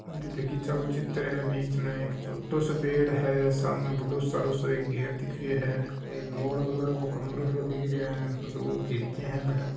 बगीचा का चित्र हे एक छोटो सो पेड़ हे सामने एक बड़ो सरो गेट दिख रहियो हे एक गोल कलर सो कमरों दिख रहियो हे। दो खिड़कियां है बठ।